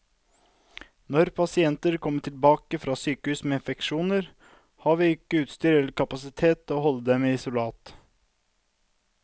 Når pasienter kommer tilbake fra sykehus med infeksjoner, har vi ikke utstyr eller kapasitet til å holde dem i isolat.